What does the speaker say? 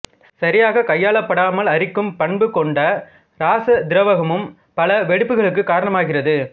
சரியாகக் கையாளப் படாமல் அரிக்கும் பண்பு கொண்ட இராச திராவகமும் பல வெடிப்புகளுக்கு காரணமாகிறது